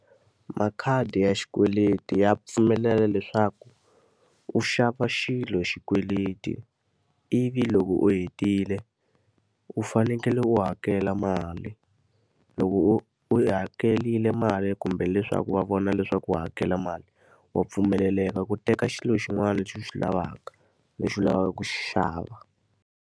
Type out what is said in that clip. Makhadi ya xikweleti ya pfumelela leswaku u xava xilo hi xikweleti, ivi loko u hetile u fanekele u hakela mali. Loko u u yi hakerile mali kumbe leswaku va vona leswaku u hakela mali, wa pfumeleleka ku teka xilo xin'wana lexi u xi lavaka, lexi u lavaka ku xi xava.